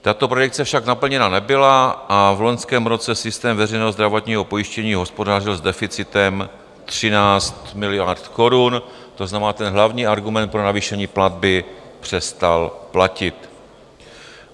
Tato predikce však naplněna nebyla a v loňském roce systém veřejného zdravotního pojištění hospodařil s deficitem 13 miliard korun, to znamená, ten hlavní argument pro navýšení platby přestal platit.